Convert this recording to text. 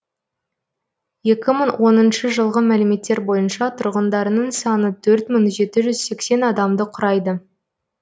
жылғы мәліметтер бойынша тұрғындарының саны адамды құрайды